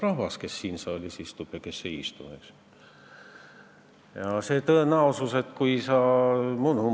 Rahvas otsustab, kes siin saalis istub ja kes ei istu.